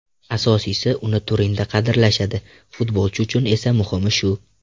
Asosiysi, uni Turinda qadrlashadi, futbolchi uchun esa muhimi shu.